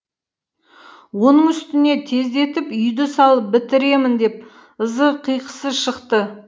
оның үстіне тездетіп үйді салып бітіремін деп ызы қиқысы шықты